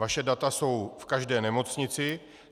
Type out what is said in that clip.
Vaše data jsou v každé nemocnici.